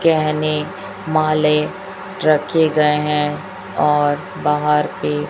गहने माले रखे गए है और बाहर भी --